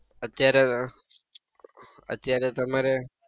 અત્યારે ઉહ અત્યારે તમારે!